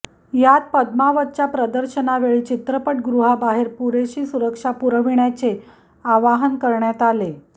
यात पद्मावतच्या प्रदर्शनावेळी चित्रपटगृहाबाहेर पुरेशी सुरक्षा पुरविण्याचे आवाहन करण्यात आले